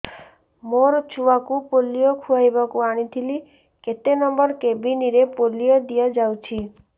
ମୋର ଛୁଆକୁ ପୋଲିଓ ଖୁଆଇବାକୁ ଆଣିଥିଲି କେତେ ନମ୍ବର କେବିନ ରେ ପୋଲିଓ ଦିଆଯାଉଛି